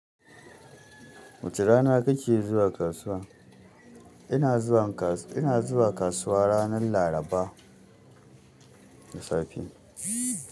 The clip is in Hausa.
Wace rana kike zuwa kasuwa? Ina zuwa kasuwa ranar laraba da safe.